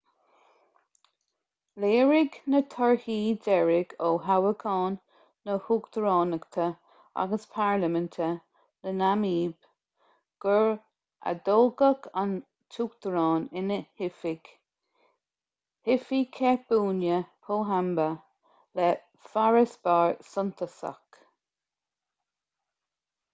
léirigh na torthaí deiridh ó thoghcháin na huachtaránachta agus parlaiminte sa namaib gur atoghadh an t-uachtarán in oifig hifikepunye pohamba le farasbarr suntasach